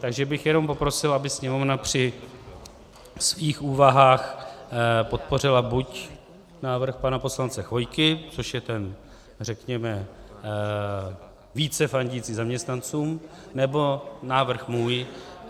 Takže bych jenom poprosil, aby Sněmovna při svých úvahách podpořila buď návrh pana poslance Chvojky, což je ten řekněme více fandící zaměstnancům, nebo návrh můj.